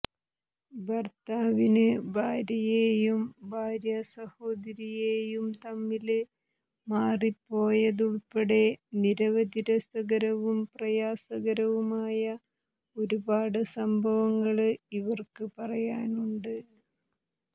ഭര്ത്താവിന് ഭാര്യയെയും ഭാര്യാ സഹോദരിയെയും തമ്മില് മാറിപ്പോയതുള്പ്പെടെ നിരവധി രസകരവും പ്രയാസകരവുമായ ഒരുപാട് സംഭവങ്ങള് ഇവര്ക്ക് പറയാനുണ്ട്